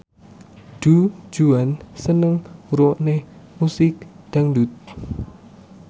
Du Juan seneng ngrungokne musik dangdut